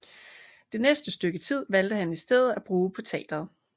Det næste stykke tid valgte han i stedet at bruge på teateret